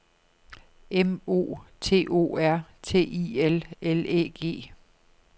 M O T O R T I L L Æ G